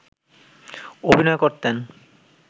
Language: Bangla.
অভিনয় করতেন